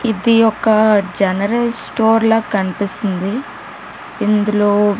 ఇది ఒక general store లా కనిపిస్తుంది ఇందులో --